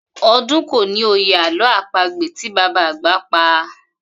O̩dún kò ní òye àló̩ àpagbè tí bàbá àgbà pa